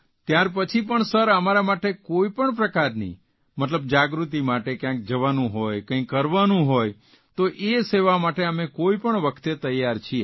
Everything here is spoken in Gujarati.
ત્યારપછી પણ સર અમારા માટે કોઇપણ પ્રકારની મતલબ જાગૃતિ માટે કયાંક જવાનું હોય કંઇ કરવાનું હોય તો તે સેવા માટે અમે કોઇપણ વખતે તૈયાર છીએ